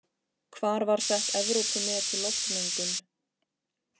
Hvar var sett Evrópumet í loftmengun?